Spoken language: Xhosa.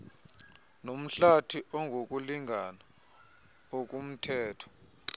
nomhlathi ongokulingana okumthetho